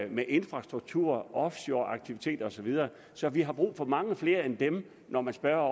med infrastruktur offshoreaktiviteter osv så vi har brug for mange flere af dem når man spørger